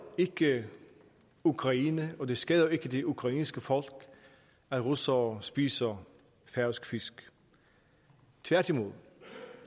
ikke ukraine og det skader ikke det ukrainske folk at russere spiser færøsk fisk tværtimod